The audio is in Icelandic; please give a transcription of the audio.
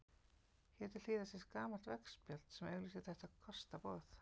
Hér til hliðar sést gamalt veggspjald sem auglýsir þetta kostaboð.